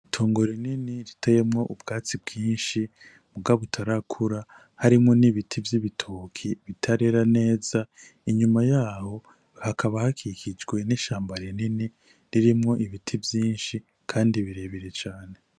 Itongo rinini riteyemwo ubwatsi bwinshi muga butarakura harimwo n'ibiti vy'ibitoki bitarera neza, inyuma yaho hakaba hakikijwe n'ishamba rinini ririmwo ibiti vyinshi kandi birebire cane.